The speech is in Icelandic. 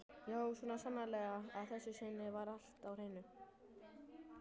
Já, svo sannarlega: að þessu sinni var allt á hreinu.